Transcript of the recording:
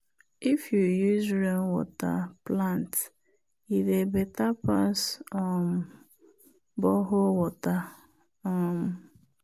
if you use rainwater water plant e dey better pass um borehole water. um